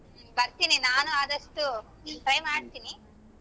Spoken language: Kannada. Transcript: ಬರ್ತೀನಿ ನಾನು ಆದಷ್ಟು try ಮಾಡ್ತೀನಿ.